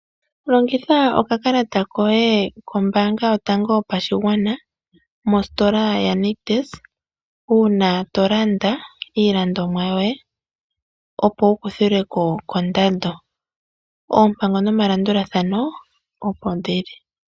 Longitha okakalata koye kombaanga yotango yopashigwana mositola yaNictus uuna to landa iilandomwa yoye, opo wu kuthilwe ko kondando. Oompango nomalandulathano opo dhi li.